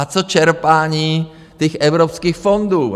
A co čerpání těch evropských fondů?